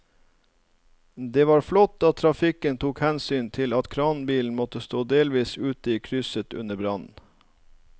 Det var flott at trafikken tok hensyn til at kranbilen måtte stå delvis ute i krysset under brannen.